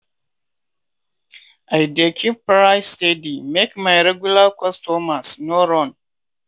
i dey keep price steady make my regular customers no run.